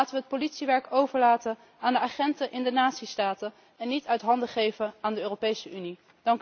Laten we het politiewerk overlaten aan de agenten in de natiestaten en niet uit handen geven aan de Europese Unie.